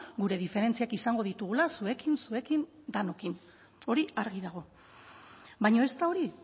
gure diferentziak izango ditugula zuekin zuekin denokin hori argi dago baina ez da hori